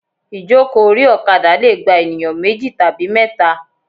Ìjókòó orí òkadà leè gba ènìyán méjì tàbí méta